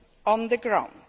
on the ground.